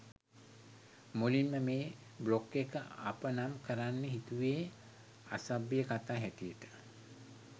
මුලින්ම මේ බ්ලොග් එක අප නම් කරන්න හිතුවේ ‘අසභ්‍ය කතා’ හැටියට.